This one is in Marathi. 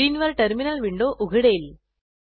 स्क्रीनवर टर्मिनल विंडो उघडेल